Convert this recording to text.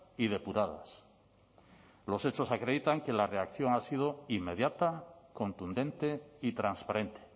y depuradas los hechos acreditan que la reacción ha sido inmediata contundente y transparente